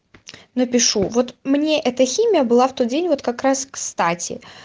напишу вот мне это химия была в тот день вот как раз кстати